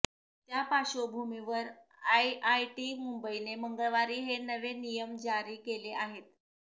त्या पार्श्वभूमीवर आयआयटी मुंबईने मंगळवारी हे नवे नियम जारी केले आहेत